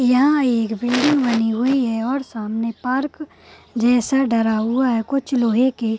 यहां एक बिल्डिंग बनी हुई है और सामने पार्क जैसा डला हुआ है कुछ लोहे के --